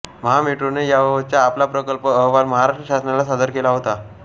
महामेट्रोने याबबतचा आपला प्रकल्प अहवाल महाराष्ट्र शासनाला सादर केला होता